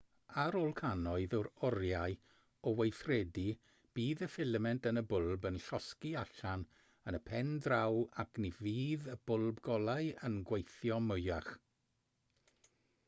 ar ôl cannoedd o oriau o weithredu bydd y ffilament yn y bwlb yn llosgi allan yn y pen draw ac ni fydd y bwlb golau yn gweithio mwyach